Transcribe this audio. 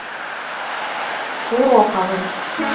широковым